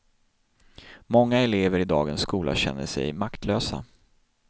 Många elever i dagens skola känner sig, maktlösa.